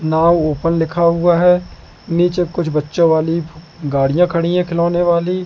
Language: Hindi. नाव ओपन लिखा हुआ है नीचे कुछ बच्चों वाली गाड़ियां खड़ी है खिलौने वाली।